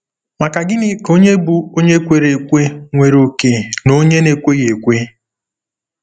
Ma gịnị ka ònye bụ́ onye kwere ekwe nwere òkè na onye na-ekweghị ekwe?